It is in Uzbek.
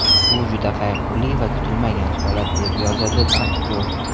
Bu juda qayg‘uli va kutilmagan holat”, deb yozadi aktyor.